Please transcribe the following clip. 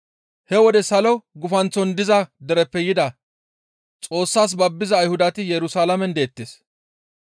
He wode salo gufanththon diza dereppe yida Xoossas babbiza Ayhudati Yerusalaamen deettes.